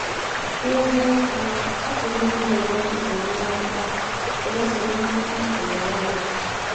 N’eziokwu, ọ pụrụ ịdị na - enwe nsogbu mmetụta enwe nsogbu mmetụta uche n’onwe ya.